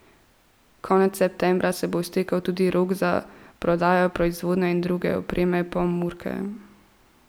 Konec septembra se bo iztekel tudi rok za prodajo proizvodne in druge opreme Pomurke.